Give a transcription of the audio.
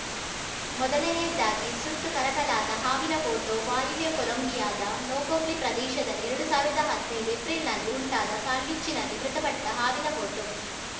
ಮೊದಲನೆಯದಾಗಿ ಸುಟ್ಟು ಕರಕಲಾದ ಹಾವಿನ ಫೋಟೋ ವಾಯುವ್ಯ ಕೊಲಂಬಿಯಾದ ನೊಕೊಕ್ಲಿ ಪ್ರದೇಶದಲ್ಲಿಎರಡು ಸಾವಿರದಾ ಹದ್ನೈದು ಏಪ್ರಿಲ್‌ನಲ್ಲಿ ಉಂಟಾದ ಕಾಳ್ಗಿಚ್ಚಿನಲ್ಲಿ ಮೃತಪಟ್ಟಹಾವಿನ ಫೋಟೋ